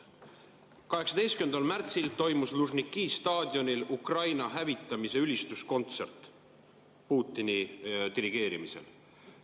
18. märtsil toimus Lužniki staadionil Ukraina hävitamise ülistuskontsert Putini dirigeerimisel.